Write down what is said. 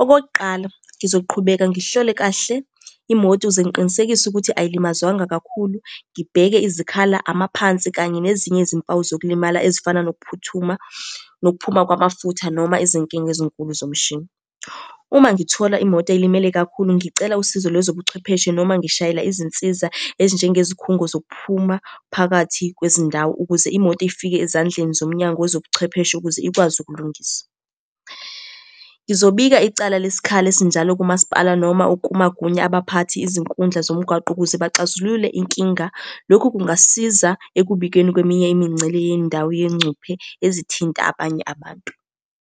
Okokuqala, ngizoqhubeka ngihlole kahle imoto ukuze ngiqinisekise ukuthi ayilimazwanga kakhulu, ngibheke izikhala, amaphansi, kanye nezinye izimpawu zokulimala ezifana nokuphuthuma, nokuphuma kwamafutha, noma izinkinga ezinkulu zomshini. Uma ngithola imoto elimele kakhulu ngicela usizo lwezobuchwepheshe noma ngishayela izinsiza ezinjengezikhungo zokuphuma phakathi kwezindawo, ukuze imoto ifike ezandleni zomnyango wezobuchwepheshe ukuze ikwazi ukulungisa. Ngizobika icala lesisikhala esinjalo kumasipala noma ukumagunya abaphathi, izinkundla zomgwaqo, ukuze baxazulule inkinga. Lokhu kungasiza ekubikeni kweminye imingcele yendawo yengcuphe ezithinta abanye abantu.